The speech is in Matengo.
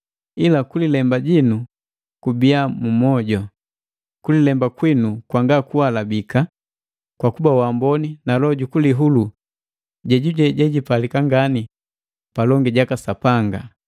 Ila kulemba jinu kubiya mu moju, kulilemba kwinu kwangakualabika kwa kuba waamboni na loho jukulihulu, jejuje jejipalika ngani palongi jaka Sapanga.